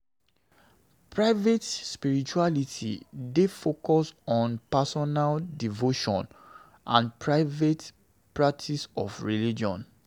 Private spirituality dey focus on personal devotion and private practice of religion